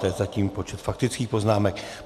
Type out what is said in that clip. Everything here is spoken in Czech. To je zatím počet faktických poznámek.